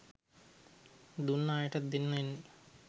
දුන්න අයටත් දෙන්න වෙන්නෙ